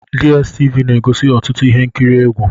DStv na-egosi ọtụtụ ihe nkiri egwu.